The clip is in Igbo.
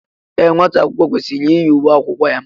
Ee, nwata akwụkwọ kwesịrị iyi uwe akwụkwọ ya.